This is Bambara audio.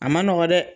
A ma nɔgɔ dɛ